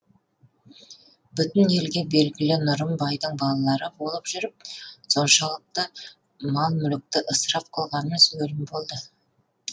бүтін елге белгілі нұрым байдың балалары болып жүріп соншалықты мал мүлікті ысырап қылғанымыз өлім болды